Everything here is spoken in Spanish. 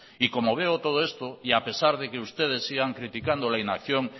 y como veo todo esto y a pesar de que ustedes sigan criticando la inacción